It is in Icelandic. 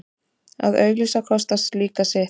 Að auglýsa kostar líka sitt.